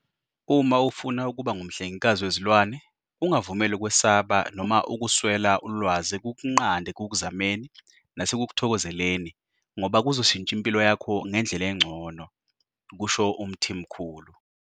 "Uma ufuna ukuba ngumhlengikazi wezilwane, ungavumeli ukwesaba noma ukuswela ulwazi kukunqande ekukuzameni nasekukuthokozeleni ngoba kuzoshintsha impilo yakho ngendlela engcono," kusho uMthimkhulu.